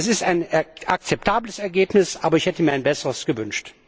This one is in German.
Es ist ein akzeptables Ergebnis, aber ich hätte mir ein besseres gewünscht.